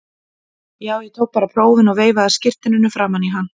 Já, ég tók bara prófin og veifaði skírteininu framan í hann.